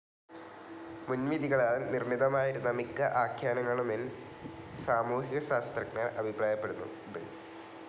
മുൻവിധികളാൽ നിർണിതമായിരുന്ന മിക്ക ആഖ്യാനങ്ങളുമെന്ൻ സാമൂഹിക ശാസ്ത്രഞ്ജർ അഭിപ്രായപ്പെടുന്നുണ്ട്.